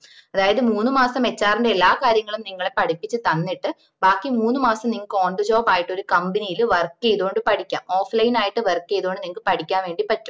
അതായത് മൂന്ന് മാസം HR ന്റെ എല്ലാ കാര്യങ്ങളും നിങ്ങളെ പടിപ്പിച്ചു തന്നിട്ട് ബാക്കി മൂന്ന് മാസം നിങ്ങക്ക് on the job ആയിട്ട് ഒരു company ല് work ചെയ്തോണ്ട് പടിക്ക offline ആയിട്ട് work ചെയ്തോണ്ട് പഠിക്കാൻ വേണ്ടി പറ്റും